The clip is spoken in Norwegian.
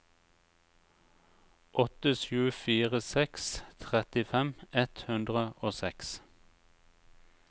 åtte sju fire seks trettifem ett hundre og seks